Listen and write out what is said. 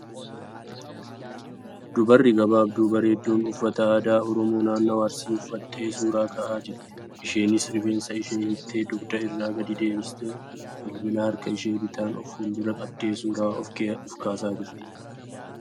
Dubarri gabaabduu bareeduun uffata aadaa Oromoo naannawaa Arsii uffattee suura ka'aa jirti. Isheenis rifeensa ishee hiiktee dugda irra gad deebistee bilbila harka ishee bitaan of fuuldura qabdee suura of kaasaa jirti.